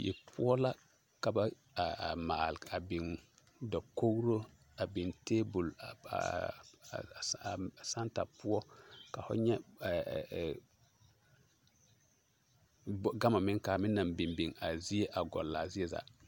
die poɔ la ka ba maale a biŋ dakogro a biŋ tabol a santa poɔ ka fo nyɛ gama meŋ kaa meŋ naŋ biŋ biŋ gɔŋlaa zie zaa.